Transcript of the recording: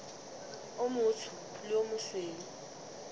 o motsho le o mosweu